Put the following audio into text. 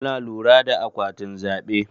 Muna lura da akwatin zaɓe.